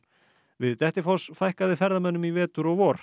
við Dettifoss fækkaði ferðamönnum í vetur og vor